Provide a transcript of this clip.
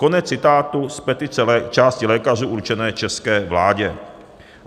Konec citátu z petice části lékařů určené české vládě.